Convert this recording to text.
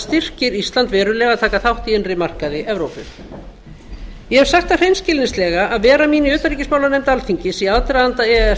styrkir ísland verulega að taka þátt í innri markaði evrópu ég hef sagt það hreinskilnislega að vera mín í utanríkismálanefnd alþingis í aðdraganda e e s